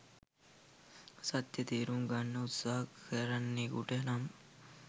සත්‍ය තේරුම් ගන්න උත්සහ කරන්නෙකුට නම්